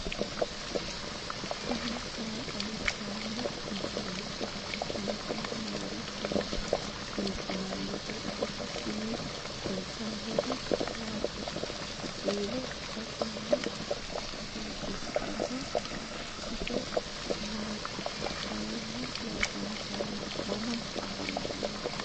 tini maa xawissanno misileeti ? mulese noori maati ? hiissinannite ise ? tini kultannori mattiya? Kiiro batinye ikkanno? isi maatti? mayinni loosamminno? mama afammanno?